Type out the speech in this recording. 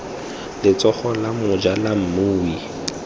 letsogo la moja la mmui